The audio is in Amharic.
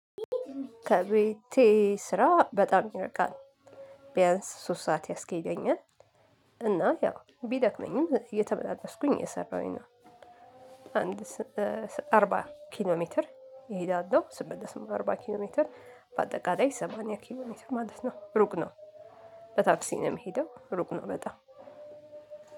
ከቤቴ ስራ በጣም ይርቃል ቢያንስ ሶስት ሰዓት ያስኬደኛል እና ያው ቢደክመኝም እየተመላለስኩኝ የሰራሁኝ ነው። አንድ አርባ ኪሎ ሜትር እሄዳለሁ ስመለስም አርባ ኪሎ ሜትር በአጠቃላይ ሰማንያ ኪሎ ሜትር ማለት ነው ሩቅ ነው። በታክሲ ነው የምሄደው ሩቅ ነው በጣም።